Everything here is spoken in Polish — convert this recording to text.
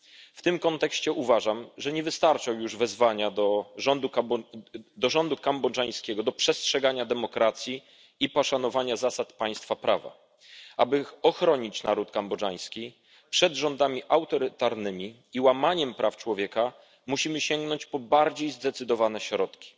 W tym kontekście uważam, że nie wystarczą już wezwania rządu kambodżańskiego do przestrzegania demokracji i poszanowania zasad państwa prawa. Aby ochronić naród kambodżański przed rządami autorytarnymi i łamaniem praw człowieka, musimy sięgnąć po bardziej zdecydowane środki.